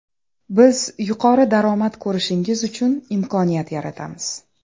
Biz yuqori daromad ko‘rishingiz uchun imkoniyat yaratamiz.